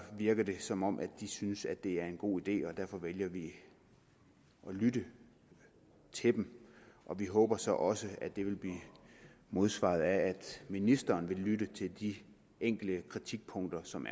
virker det som om de synes at det er en god idé og derfor vælger vi at lytte til dem vi håber så også at det vil blive modsvaret af at ministeren vil lytte til de enkelte kritikpunkter som